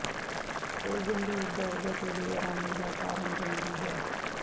ਇਹ ਗੰਭੀਰ ਦਰਦ ਅਤੇ ਬੇਆਰਾਮੀ ਦਾ ਕਾਰਨ ਬਣਦੀ ਹੈ